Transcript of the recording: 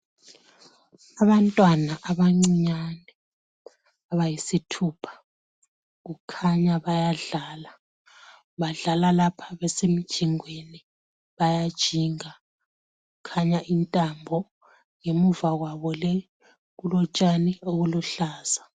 Abantwana abancinyane abayisithupha. Kukhanya bayadlala. Badlala lapha besemjingweni, bayajinga. Kukhanya intambo. Ngemva kwabo le kulotshani obuluhlaza.